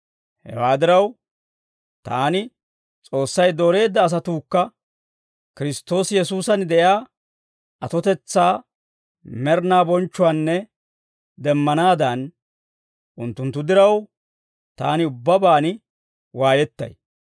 Hewaa diraw, taani S'oossay dooreedda asatuukka Kiristtoosi Yesuusan de'iyaa atotetsaa med'inaa bonchchuwaanna demmanaadan, unttunttu diraw, taani ubbabaan waayettay.